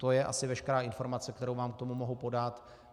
To je asi veškerá informace, kterou vám k tomu mohu podat.